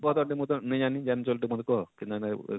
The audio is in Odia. କହ ତ ମତେ ମୁଇଁ ତ ନେଇଁ ଜାଣି ଯାନିଛୁ ବଇଲେ ଟିକେ କହ?